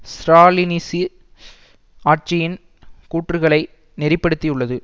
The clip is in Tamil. ஸ்ராலினிச ஆட்சியின் கூற்றுக்களை நெறிப்படுத்தியுள்ளது